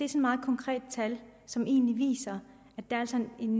et meget konkret tal som egentlig viser at der altså er en